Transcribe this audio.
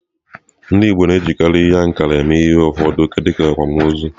Ndị Igbo na-ejikarị ihe ankara eme ihe mgbe ụfọdụ dịka akwámoozu.